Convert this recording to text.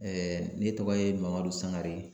ne tɔgɔ ye Mamadu Sangareŋ